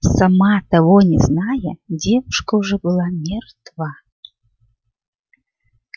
сама того не зная девушка уже была мертва